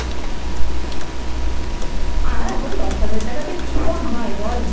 আর এখন দশ হাজার টাকা তে কি phone হয় বল